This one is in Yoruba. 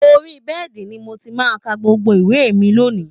Orí bed ni mo ti máa ka gbogbo ìwé mi lónìí